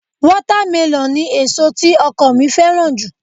Wátámẹlọ̀ ni èso tí ọkọ mi fẹ́ràn jù